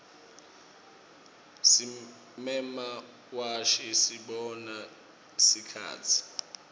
simemawashi sibona sikhatsi